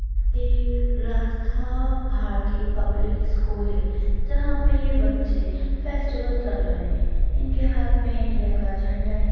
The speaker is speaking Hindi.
ये रास्ता भारती पब्लिक स्कूल है जहाँ पे ये बच्चे फेस्टिवल कर रहे है इनके हाथ में इंडिया का झंडा है।